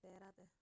dheeraad ah